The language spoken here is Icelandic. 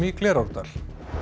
í Glerárdal